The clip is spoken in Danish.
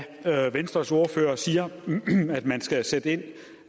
venstres ordfører siger at man skal sætte ind